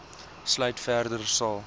sluit verder sal